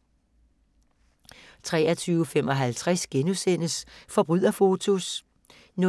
23:55: Forbryderfotos * 00:45: